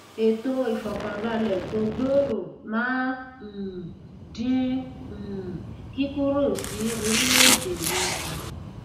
ètò ìfọkànbálẹ tó gbòòrò máa um dín um kíkúrò sí orílẹèdè míì kù